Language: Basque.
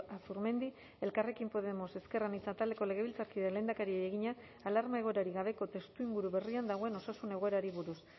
azurmendi elkarrekin podemos ezker anitza taldeko legebiltzarkideak lehendakariari egina alarma egoerarik gabeko testuinguru berrian dagoen osasun egoerari buruz